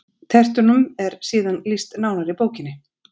Tertunum er síðan lýst nánar í bókinni: